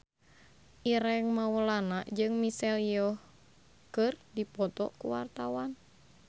Ireng Maulana jeung Michelle Yeoh keur dipoto ku wartawan